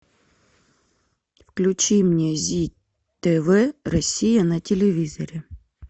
включи мне зи тв россия на телевизоре